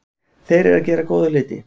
Þeir eru að gera góða hluti.